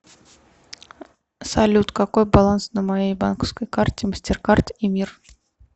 салют какой баланс на моей банковской карте мастеркард и мир